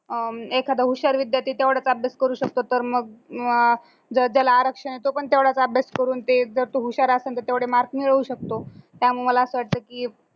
अं एखादा हुशार विद्यार्थी तेवढाच अभ्यास करू शकतो तर मग अं जो ज्याला आरक्षण तो पण तेवढाच अभ्यास करून ते जर तो हुशार असंन तर तेवढे marks मिळवू शकतो त्यामुळे मला असं वाटतं की